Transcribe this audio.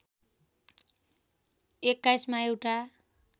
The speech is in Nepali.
२१ मा एउटा